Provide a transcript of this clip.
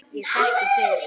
Ég þekki þig.